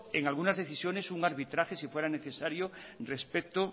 en algunas decisiones un arbitraje si fuera necesario respecto